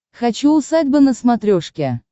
хочу усадьба на смотрешке